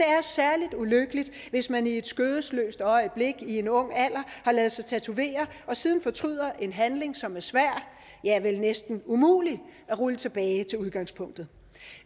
er særlig ulykkeligt hvis man i skødesløst øjeblik i en ung alder har ladet sig tatovere og siden fortryder en handling som er svær ja vel næsten umulig at rulle tilbage til udgangspunktet